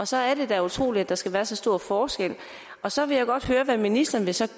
så er det da utroligt at der skal være så stor forskel så vil jeg godt høre hvad ministeren så